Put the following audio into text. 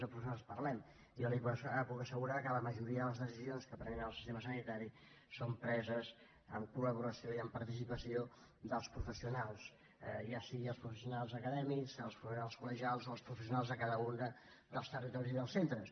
jo li puc assegurar que la majoria de les decisions que es prenen en el sistema sanitari són preses en collaboració i amb participació dels professionals ja sigui els professionals acadèmics els professionals colo els professionals de cada un dels territoris i dels centres